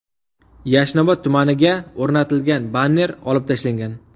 Yashnobod tumaniga o‘rnatilgan banner olib tashlangan.